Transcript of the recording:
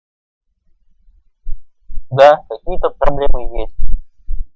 да какие-то проблемы есть